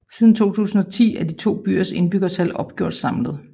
Siden 2010 er de to byers indbyggertal opgjort samlet